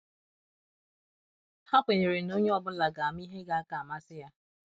Ha kwenyere na onye ọ bụla ga ama ihe ga - aka amasị ya.